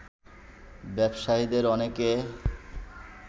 ব্যবসায়ীদের অনেকে